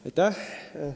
Palun!